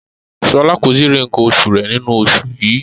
Shola ko tíì ri nkán osù rẹ nínú oṣù yìí.